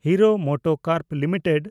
hero MotoCorp limited